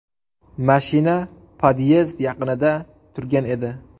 Mashina podyezd yaqinida turgan edi.